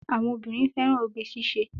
Àwọn obìnrin fẹ́ràn oge ṣíṣe.